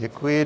Děkuji.